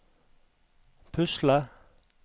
pusle